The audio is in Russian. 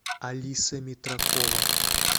алиса митракова